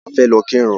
A fẹ́ lọ kírun